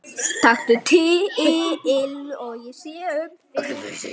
Taktu til.